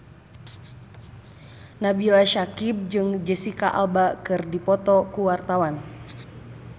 Nabila Syakieb jeung Jesicca Alba keur dipoto ku wartawan